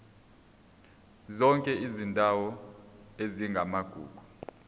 zonke izindawo ezingamagugu